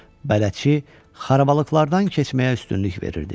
Bələdçi xarabalıqlardan keçməyə üstünlük verirdi.